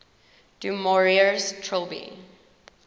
du maurier's trilby